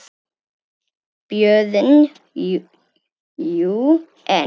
BJÖRN: Jú, en.